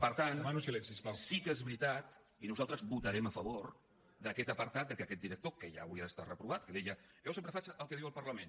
per tant sí que és veritat i nosaltres votarem a favor d’aquest apartat que aquest director que ja hauria d’estar reprovat que deia jo sempre faig el que diu el parlament